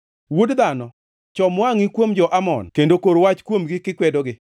“Wuod dhano, chom wangʼi kuom jo-Amon kendo kor wach kuomgi kikwedogi.